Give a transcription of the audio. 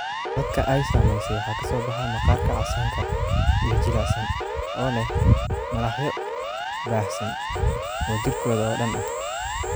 Dadka ay saameysay waxaa ka soo baxa maqaarka casaanka iyo jilicsan oo leh malaxyo baahsan oo jirkooda oo dhan ah.